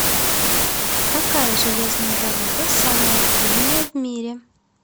какая железная дорога самая длинная в мире